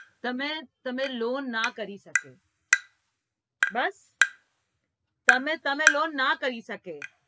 તમે તમે loan ના કરી શકે બસ તમે તમે loan ના કરી શકે